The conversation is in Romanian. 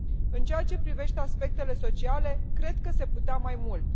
În ceea ce privește aspectele sociale cred că se putea mai mult.